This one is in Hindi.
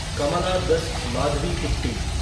कमाला दस माधवीकुट्टी